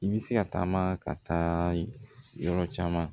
I bɛ se ka taama ka taa yɔrɔ caman